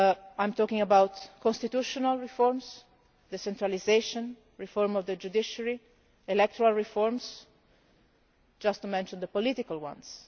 I am talking about constitutional reforms, decentralisation, reform of the judiciary, electoral reforms, just to mention the political ones.